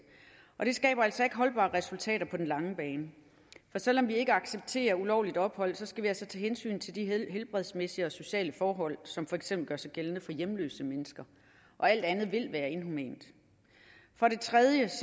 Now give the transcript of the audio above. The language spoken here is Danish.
og det skaber altså ikke holdbare resultater på den lange bane for selv om vi ikke accepterer ulovligt ophold skal vi altså tage hensyn til de helbredsmæssige og sociale forhold som for eksempel gør sig gældende for hjemløse mennesker og alt andet vil være inhumant for det tredje